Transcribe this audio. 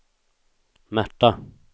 Märta